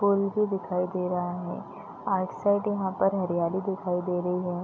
पुल भी दिखाई दे रहा है पार्क साइड यहां पर हरियाली दिखाई दे रही है।